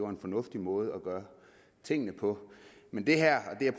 en fornuftig måde at gøre tingene på men det her